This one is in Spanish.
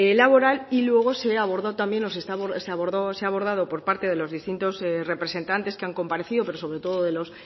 laboral y luego se abordó también se ha abordado por parte de los distintos representantes que han comparecido pero sobre todo de los